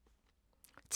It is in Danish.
TV 2